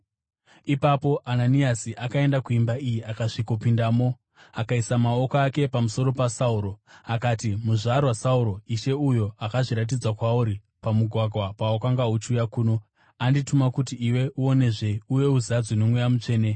Ipapo Ananiasi akaenda kuimba iyi akasvikopindamo. Akaisa maoko ake pamusoro paSauro akati, “Muzvarwa Sauro, Ishe Jesu, uyo akazviratidza kwauri pamugwagwa pawakanga uchiuya kuno, andituma kuti iwe uonezve uye uzadzwe noMweya Mutsvene.”